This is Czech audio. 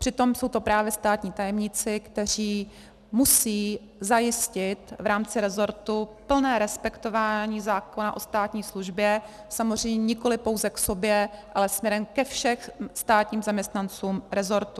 Přitom jsou to právě státní tajemníci, kteří musí zajistit v rámci resortu plné respektování zákona o státní službě, samozřejmě nikoliv pouze k sobě, ale směrem ke všem státním zaměstnancům resortu.